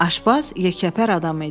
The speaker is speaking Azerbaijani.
Aşbaz yekəpər adam idi.